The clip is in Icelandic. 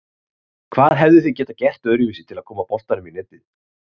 Hvað hefðuð þið getað gert öðruvísi til að koma boltanum í netið?